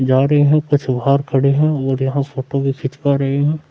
जा रहे हैं कुछ बाहर खड़े हैं और यहां फोटो भी खिचवा रहे हैं।